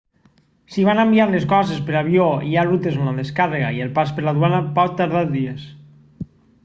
si van enviar les coses per avió hi ha rutes on la descàrrega i el pas per la duana pot tardar dies